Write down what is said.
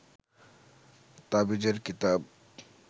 তাবিজের কিতাব